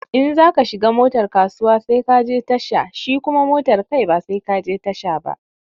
In za ka shiga motar kasuwa sai ka je tasha shi kuma motar kai ba sai ka je tasha ba.